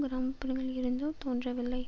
கிராம புறங்களில் இருந்தோ தோன்றவில்லை